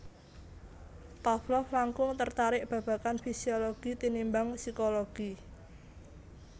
Pavlov langkung tertarik babagan fisiologi tinimbang psikologi